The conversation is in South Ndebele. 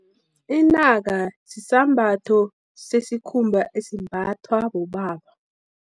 Inaka, sisambatho sesikhumba, esimbathwa bobaba.